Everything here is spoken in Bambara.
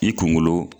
I kunkolo